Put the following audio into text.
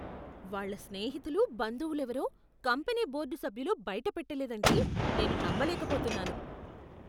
వాళ్ళ స్నేహితులు, బంధువులేవరో కంపెనీ బోర్డు సభ్యులు బయటపెట్టలేదంటే నేను నమ్మలేక పోతున్నాను.